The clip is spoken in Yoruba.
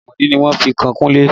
Ẹ̀sẹ̀ àìmọ̀dí ni wọ́n fi kan Kunle